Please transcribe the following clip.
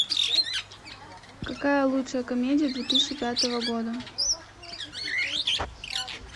какая лучшая комедия две тысячи пятого года